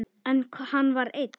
En hann var einn.